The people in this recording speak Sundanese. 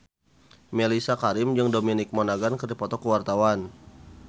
Mellisa Karim jeung Dominic Monaghan keur dipoto ku wartawan